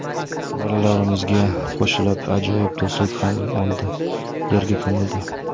Bolalarimizga qo‘shilib ajoyib do‘stlik ham o‘ldi, yerga ko‘mildi.